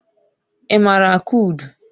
Ị maara akụ udu?